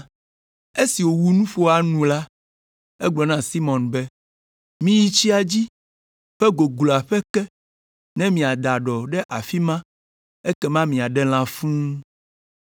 Esi wòwu nuƒoa nu la, egblɔ na Simɔn be, “Azɔ miyi tsia ƒe gogloa ƒe ke ne miada ɖɔ ɖe afi ma ekema miaɖe lã fũu.”